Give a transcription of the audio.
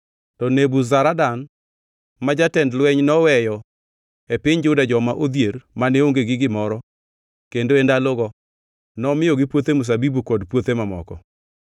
To Nebuzaradan ma jatend lweny noweyo e piny Juda joma odhier, mane onge gi gimoro; kendo e ndalogo nomiyogi puothe mzabibu kod puothe mamoko.